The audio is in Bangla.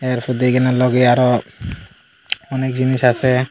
এরপর দিয়ে এখানে লগে আরও অনেক জিনিস আছে।